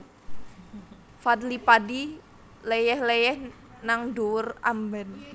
Fadly Padi leyeh leyeh nang dhuwur amben